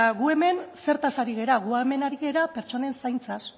gu hemen zertaz ari gara gu hemen ari gara pertsonen zaintzaz